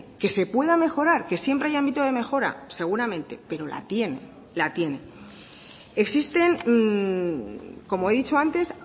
que se pueda mejorar que siempre hay ámbito de mejora seguramente pero la tiene la tiene existen como he dicho antes